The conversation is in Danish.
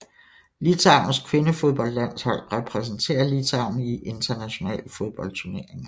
Litauens kvindefodboldlandshold repræsenterer Litauen i internationale fodboldturneringer